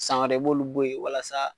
San wɛrɛ i b'olu bo yen walasa